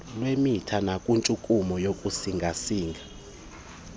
lwemitha nakwintshukumo yokusingasinga